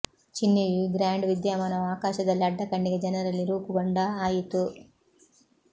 ಚಿಹ್ನೆಯು ಈ ಗ್ರಾಂಡ್ ವಿದ್ಯಮಾನವು ಆಕಾಶದಲ್ಲಿ ಅಡ್ಡ ಕಣ್ಣಿಗೆ ಜನರಲ್ಲಿ ರೂಪುಗೊಂಡ ಆಯಿತು